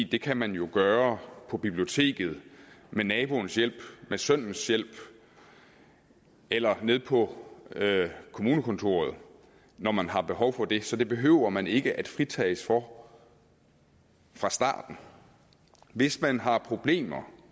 det kan man jo gøre på biblioteket med naboens hjælp med sønnens hjælp eller nede på kommunekontoret når man har behov for det så det behøver man ikke at fritages for fra starten hvis man har problemer